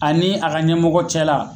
A ni a ka ɲɛmɔgɔ cɛ la